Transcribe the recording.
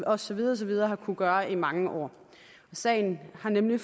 og så videre og så videre har kunnet gøre i mange år sagen har nemlig